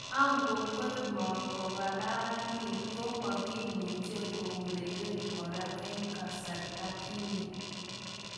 Agokwer Mo kokaranit, ko makimuche keureren kora en kasarta ini